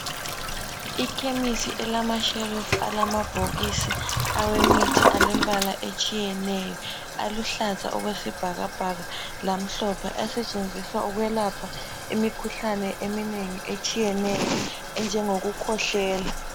Ikhemisi elamashelufu alamabhokisi awemithi alembala etshiyeneyo aluhlaza okwesibhakabhaka lamhlophe asetshenziswa ukwelapha imikhuhlane eminengi etshiyeneyo enjengokukhwehlela.